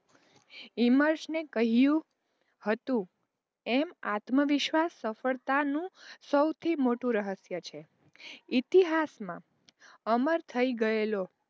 હિમર્શ ને કહ્યું હતું એમ આત્મવિશ્વાસ સફળતાનું સૌથી મોટું રહસ્ય છે. ઇતિહાસમાં અમર થય ગયેલો,